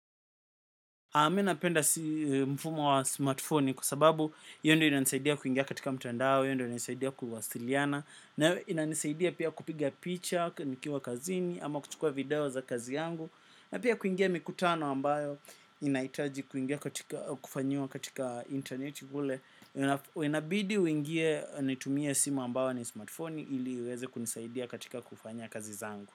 Mimi napenda mfumo wa smartfoni kwa sababu hiyo ndio inanisaidia kuingia katika mtandao, hiyo ndio inanisaidia kuwasiliana. Na inanisaidia pia kupiga picha, nikiwa kazini, ama kuchukua video za kazi yangu. Na pia kuingia mikutano ambayo inahitaji kuingia kufanyiwa katika interneti kule inabidi uingie nitumie simu ambayo ni smartfoni ili iweze kunisaidia katika kufanya kazi zangu.